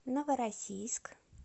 новороссийск